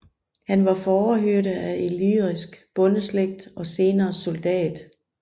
Han var fårehyrde af illyrisk bondeslægt og senere soldat